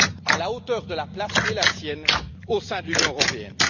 à la hauteur de la place qui est la sienne au sein de l'Union Européenne.